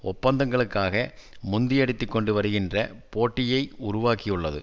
ஒப்பந்தங்களுக்காக முந்தியடித்துக் கொண்டு வருகின்ற போட்டியை உருவாக்கியுள்ளது